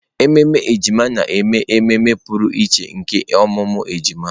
Ememe ejima na-eme ememe pụrụ iche nke ọmụmụ ejima.